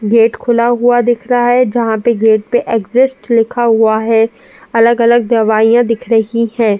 Gate खुला हुआ दिख रहा है जहां पे गेट पे एक्सिस्ट लिखा हुआ है। अलग-अलग दवाइयां दिख रही हैं।